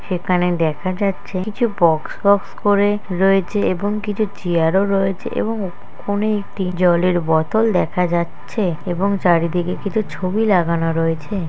সেখানে দেখা যাচ্ছে কিছু বক্স বক্স করে রয়েছে এবং কিছু চেয়ার ও রয়েছে এবং কোনে একটি জলের বোতল দেখা যাচ্ছে। এবং চারিদিকে কিছু ছবি লাগানো রয়েছে।